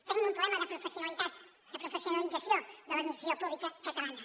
tenim un problema de professionalitat de professionalització de l’administració pública catalana